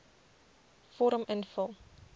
vorm invul